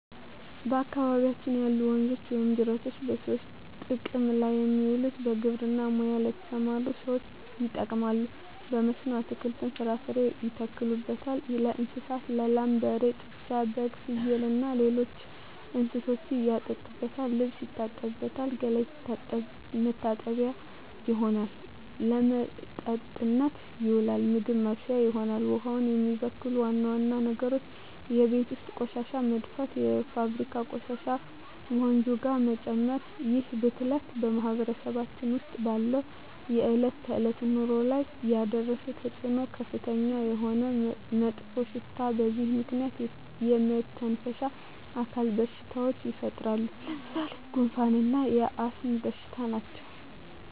በአካባቢያችን ያሉ ወንዞች ወይም ጅረቶች በሰዎች ጥቅም ላይ የሚውለው በግብርና ሙያ ለተሠማሩ ሠዎች ይጠቅማል። በመስኖ አትክልትን፣ ፍራፍሬ ያተክሉበታል። ለእንስሳት ላም፣ በሬ፣ ጥጃ፣ በግ፣ ፍየል፣ አህያ እና ሌሎች እንስሶችን ያጠጡበታል፣ ልብስ ይታጠብበታል፣ ገላ መታጠቢያነት ይሆናል። ለመጠጥነት ይውላል፣ ምግብ ማብሠያ ይሆናል። ውሃውን የሚበክሉ ዋና ዋና ነገሮች የቤት ውስጥ ቆሻሻ መድፋት፣ የፋብሪካ ቆሻሾችን ወንዙ ጋር መጨመር ይህ ብክለት በማህበረሰባችን ውስጥ ባለው የዕለት ተዕለት ኑሮ ላይ ያደረሰው ተፅዕኖ ከፍተኛ የሆነ መጥፎሽታ በዚህ ምክንያት የመተነፈሻ አካል በሽታዎች ይፈጠራሉ። ለምሣሌ፦ ጉንፋ እና የአስም በሽታ ናቸው።